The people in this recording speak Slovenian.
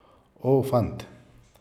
O, fant!